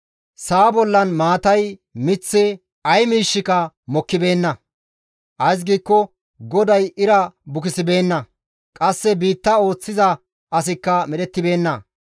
sa7a bollan maatay, miththi, ay miishshika mokkibeenna; ays giikko GODAY ira bukisibeenna; qasse biitta ooththiza asikka medhettibeenna.